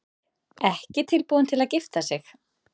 Ekki tilbúin til að gifta sig